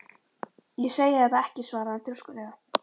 Ég segi það ekki svaraði hann þrjóskulega.